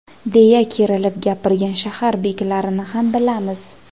deya kerilib gapirgan shahar beklarini ham bilamiz.